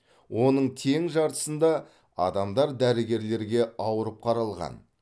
оның тең жартысында адамдар дәрігерлерге ауырып қаралған